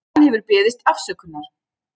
Hann hefur beðist afsökunar